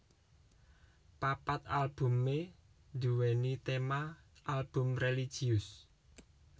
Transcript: Papat albumé nduwèni téma album religius